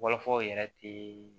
Fɔlɔfɔlɔ yɛrɛ tɛ